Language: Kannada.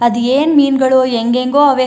ಅದ್ ಏನ್ ಮೀನ್ ಗಳೋ ಎಂಗೆಂಗೋ ಅವೇ --